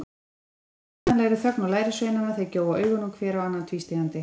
Það slær kvíðvænlegri þögn á lærisveinana, þeir gjóa augunum hver á annan tvístígandi.